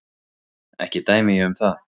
Ekki dæmi ég um það.